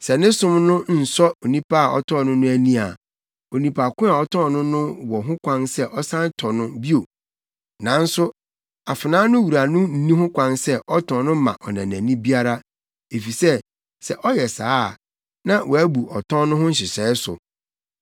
Sɛ ne som no nsɔ onipa a ɔtɔɔ no no ani a, onipa ko a ɔtɔn no no wɔ ho kwan sɛ ɔsan tɔ no bio. Nanso afenaa no wura no nni ho kwan sɛ ɔtɔn no ma ɔnanani biara, efisɛ sɛ ɔyɛ saa a, na wabu ɔtɔn no ho nhyehyɛe so.